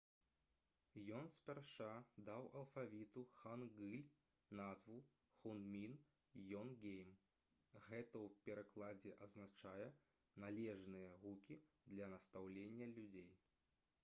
ён спярша даў алфавіту хангыль назву «хунмін йонгейм». гэта ў перакладзе азначае «належныя гукі для настаўлення людзей»